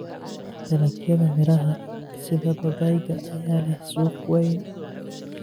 Dalagyada miraha sida babayga ayaa leh suuq weyn.